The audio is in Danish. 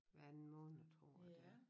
Hver anden måned tror jeg det er